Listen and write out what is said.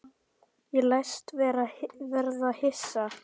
Ég læst verða hissa.